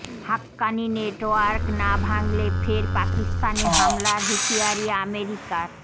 Haqqani network না ভাঙলে ফের পাকিস্তানে হামলার হুঁশিয়ারি আমেরিকার